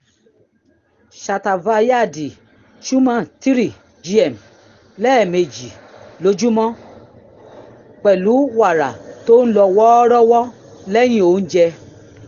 shatavaryadi churna three gm lẹ́ẹ̀mejì lójúmọ́ pẹ̀lú wàrà tó ń lọ́ wọ́ọ́rọ́wọ́ lẹ́yìn oúnjẹ